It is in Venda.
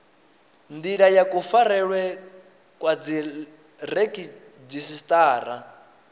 ndila ya kufarelwe kwa dziredzhisiṱara